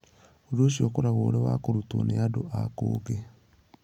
Ũndũ ũcio ũkoragwo ũrĩ wa kũrutwo nĩ andũ a kũngĩ.